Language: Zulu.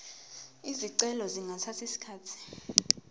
izicelo zingathatha isikhathi